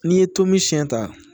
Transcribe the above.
N'i ye tomi siyɛn ta